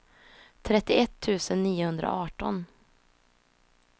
trettioett tusen niohundraarton